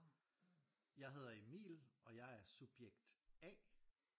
Jeg hedder Emil og jeg er subjekt A